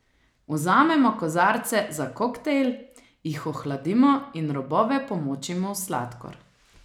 Vzamemo kozarce za koktejl, jih ohladimo in robove pomočimo v sladkor.